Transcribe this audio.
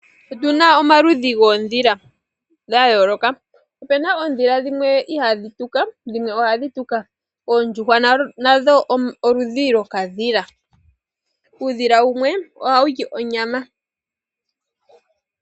Otu na omaludhi goondhila dha yooloka opu na oondhila dhimwe iha dhi tuka dhimwe oha dhi tuka. Oondjuhwa nadho oludhi luudhila. Uudhila wumwe oha wu li onyama.